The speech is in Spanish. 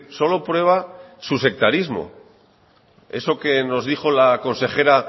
solo prueba su sectarismo eso que nos dijo la consejera